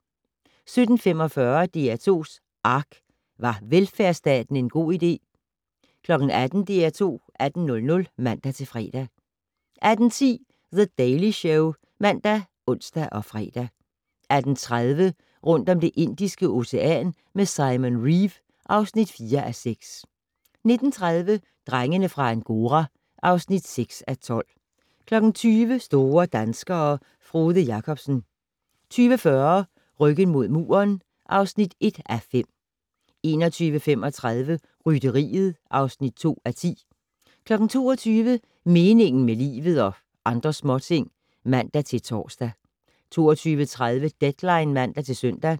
17:45: DR2's ARK - Var velfærdsstaten en god idé? 18:00: DR2 18:00 (man-fre) 18:10: The Daily Show ( man, ons, fre) 18:30: Rundt om Det Indiske Ocean med Simon Reeve (4:6) 19:30: Drengene fra Angora (6:12) 20:00: Store danskere - Frode Jakobsen 20:40: Ryggen mod muren (1:5) 21:35: Rytteriet (2:10) 22:00: Meningen med livet - og andre småting (man-tor) 22:30: Deadline (man-søn)